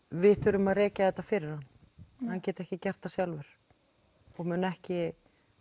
við þurfum að rekja þetta fyrir hann hann geti ekki gert það sjálfur og muni ekki